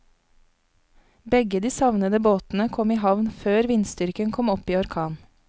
Begge de savnede båtene kom i havn før vindstyrken kom opp i orkan.